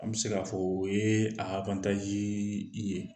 An bɛ se k'a fɔ o ye a ye